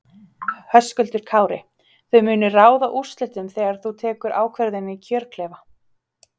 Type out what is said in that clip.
Höskuldur Kári: Þau munu ráða úrslitum þegar þú tekur ákvörðun í kjörklefa?